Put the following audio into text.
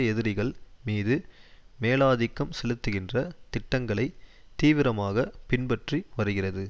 எதிரிகள் மீது மேலாதிக்கம் செலுத்துகின்ற திட்டங்களை தீவிரமாக பின்பற்றி வருகிறது